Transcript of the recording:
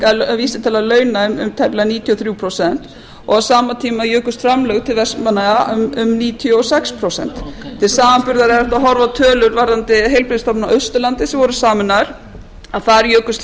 hækkaði vísitala launa um tæplega níutíu og þrjú prósent og á sama tíma jukust framlög til vestmannaeyja um níutíu og sex prósent til samanburðar er hægt að horfa á tölur varðandi heilbrigðisstofnanir á austurlandi sem voru sameinaðar að þar jukust